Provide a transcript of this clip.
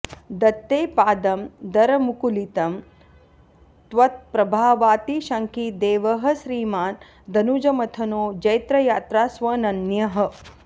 दत्ते पादं दरमुकुलितं त्वत्प्रभावातिशङ्की देवः श्रीमान् दनुजमथनो जैत्रयात्रास्वनन्यः